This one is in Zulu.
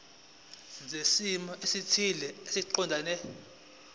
zezimo ezithile eziqondene